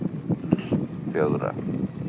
fjögra